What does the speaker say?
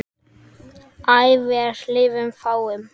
æ vér lifað fáum